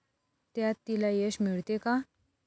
त्यात तिला यश मिळते का?